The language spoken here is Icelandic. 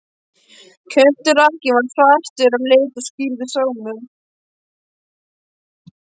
Kjölturakkinn var svartur á lit og skírður Sámur.